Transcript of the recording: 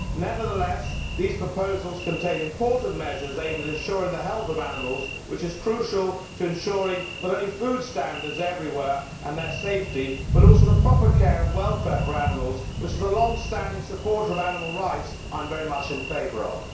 Nevertheless, these proposals contain important measures aimed at ensuring the health of animals, which is crucial to ensuring not only food standards everywhere and their safety but also the proper care and welfare for animals which, as a longstanding supporter of animal rights, I am very much in favour of.